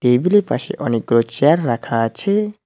Table -এর পাশে অনেকগুলো চেয়ার রাখা আছে।